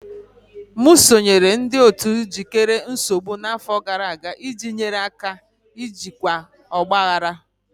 M sonyeere ndị otu ijikere nsogbu n'afọ gara aga iji nyere aka jikwaa ọgba aghara.